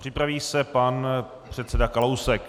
Připraví se pan předseda Kalousek.